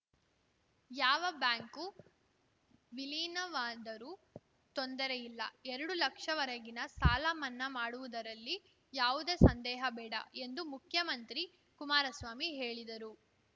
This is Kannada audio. ಯಾವ ಬ್ಯಾಂಕು ವಿಲೀನವಾದರೂ ತೊಂದರೆಯಿಲ್ಲ ಎರಡು ಲಕ್ಷ ವರೆಗಿನ ಸಾಲ ಮನ್ನಾ ಮಾಡುವುದರಲ್ಲಿ ಯಾವುದೇ ಸಂದೇಹ ಬೇಡ ಎಂದು ಮುಖ್ಯಮಂತ್ರಿ ಕುಮಾರಸ್ವಾಮಿ ಹೇಳಿದರು